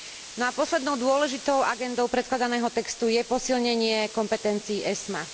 No a poslednou dôležitou agendou predkladaného textu je posilnenie kompetencií ESMA.